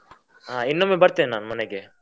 ಹಾ ಇನ್ನೊಮ್ಮೆ ಬರ್ತೇನೆ ನಾನ್ ಮನೆಗೆ.